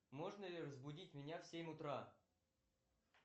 можно ли разбудить меня в семь утра